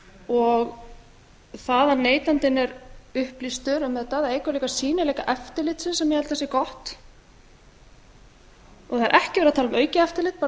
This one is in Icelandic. og það að neytandinn er upplýstur um þetta það eykur líka sýnileika eftirlitsins sem ég held að sé gott það er ekki verið að tala um aukið eftirlit bara svo